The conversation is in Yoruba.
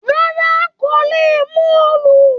Rárá, kò lè mú òòlù.